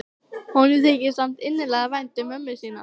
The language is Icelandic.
Honum þykir samt innilega vænt um mömmu sína.